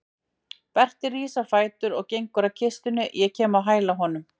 Berti rís á fætur og gengur að kistunni, ég kem á hæla honum.